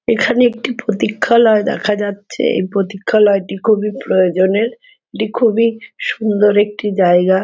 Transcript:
এখানে একটি প্রতীক্ষালয় দেখা যাচ্ছে। এই প্রতীক্ষালয়টি খুবই প্রয়োজনের । এটি খুবই সুন্দর একটি জায়গা।